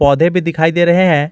पौधे भी दिखाई दे रहे हैं।